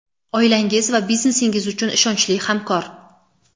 Oilangiz va biznesingiz uchun ishonchli hamkor.